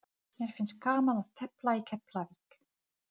Jónas Hallgrímsson var líka þýðandi.